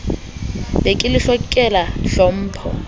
be ke le hlokela tlhompho